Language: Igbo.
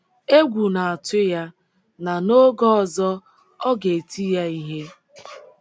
Egwu na-atu ya na n’oge ọzọ ọ ga - eti ya ihe.